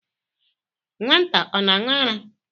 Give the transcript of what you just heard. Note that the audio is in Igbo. Nwata ọ na-aṅụ ara?